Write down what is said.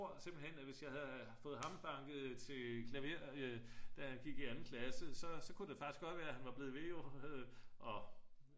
tror simpelthen at hvis jeg havde fået ham banket til klaver da han gik i 2. klasse så kunne det jo faktisk godt være at han var blevet ved